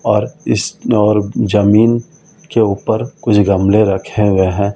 और इसन और जमीन के ऊपर कुछ गमले रखे हुए हैं।